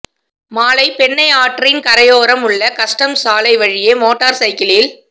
மாலை பெண்ணையாற்றின் கரையோரம் உள்ள கஸ்டம்ஸ் சாலை வழியே மோட்டார் சைக்கிளில்